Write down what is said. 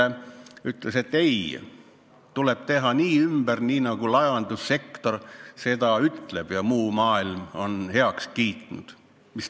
– ütles, et ei, tuleb teha ümber nii, nagu laevandussektor soovib ja muu maailm on heaks kiitnud.